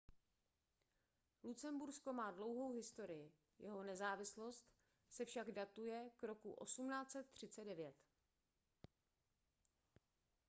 lucembursko má dlouhou historii jeho nezávislost se však datuje k roku 1839